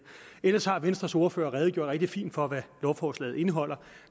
ellers har venstres ordfører redegjort rigtig fint for hvad lovforslaget indeholder